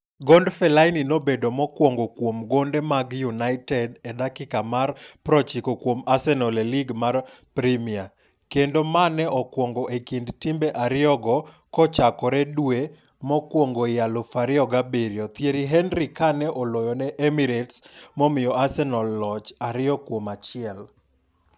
Gond Fellaini nobedo mokwongo kuom gonde mag United e dakika mar 90 kuom Arsenal e Lig mar Premia, kendo mane okwongo e kind timbe ariyogo kochakoredwe mokwongoi 2007 Thierry Henry kane oloyone Emirates momiyo Arsenal loch 2-1.